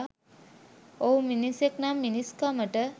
ඔහු මිනිසෙක් නම් මිනිස්කමට